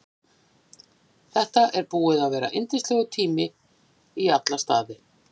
Þetta er búið að vera yndislegur tími í alla staði.